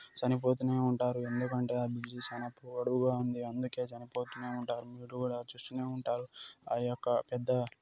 చనిపోతూనే ఉంటారు ఎందుకు అంటే ఆ బ్రిడ్జి చానా పొడవుగా ఉంది అందుకే చనిపోతూనే ఉంటారు మీరు కూడా చూస్తూనే ఉంటారు అ యొక్క పెద్ద --